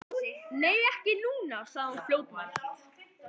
Nei, ekki núna, sagði hún fljótmælt.